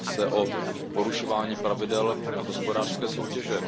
Jedná se o porušování pravidel hospodářské soutěže.